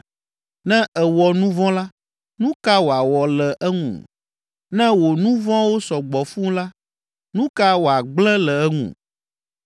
Ne èwɔ nu vɔ̃ la, nu ka wòawɔ le eŋu? Ne wò nu vɔ̃wo sɔ gbɔ fũu la, nu ka wòagblẽ le eŋu?